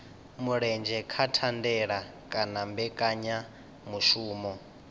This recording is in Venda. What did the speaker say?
mulenzhe kha thandela kana mbekanyamushumo